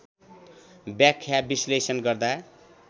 व्याख्या विश्लेषण गर्दा